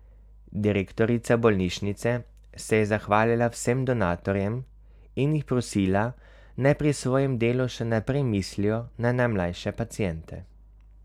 Direktorica bolnišnice se je zahvalila vsem donatorjem in jih prosila, naj pri svojem delu še naprej mislijo na najmlajše paciente.